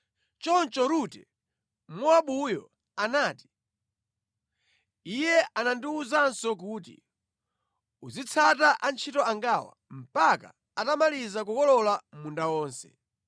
Choncho Rute Mmowabuyo anati, “Iye anandiwuzanso kuti, ‘Uzitsata antchito angawa mpaka atamaliza kukolola munda wonse.’ ”